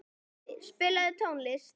Fróði, spilaðu tónlist.